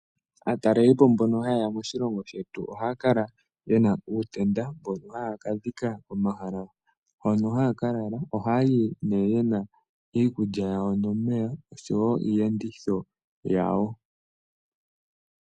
Aatalelipo mbono ha yeya moshilongo shetu ohaya kala yena uutenda mbono haya kadhika komahala hono haya kalala, oha yayi ne yena iikulya yayo nomeya oshowo iiyenditho yawo.